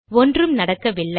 ஒன்றும் நடக்கவில்லை